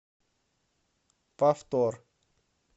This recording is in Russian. повтор